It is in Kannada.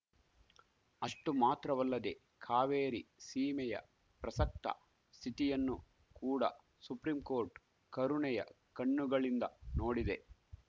ಅಷ್ಟು ಮಾತ್ರವಲ್ಲದೆ ಕಾವೇರಿ ಸೀಮೆಯ ಪ್ರಸಕ್ತ ಸ್ಥಿತಿಯನ್ನು ಕೂಡ ಸುಪ್ರೀಂಕೋರ್ಟ್‌ ಕರುಣೆಯ ಕಣ್ಣುಗಳಿಂದ ನೋಡಿದೆ